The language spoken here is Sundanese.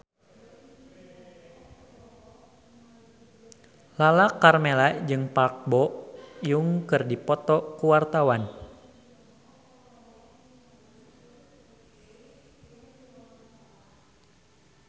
Lala Karmela jeung Park Bo Yung keur dipoto ku wartawan